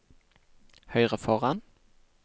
høyre foran